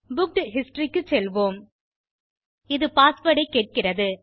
booked history க்கு செல்வோம் இது பாஸ்வேர்ட் ஐ கேட்கிறது